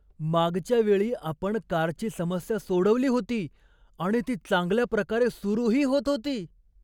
मागच्या वेळी आपण कारची समस्या सोडवली होती आणि ती चांगल्याप्रकारे सुरूही होत होती.